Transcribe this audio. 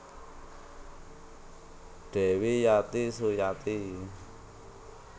Dewi Yati Suyati